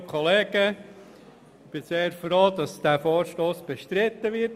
Ich bin sehr froh, dass dieser Vorstoss bestritten wird.